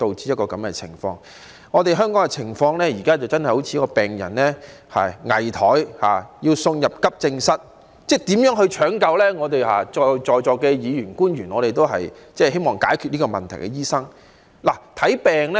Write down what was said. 香港現在的情況好像一個危殆的病人，要送入急症室搶救，而在座議員和官員都是希望解決這個問題的醫生。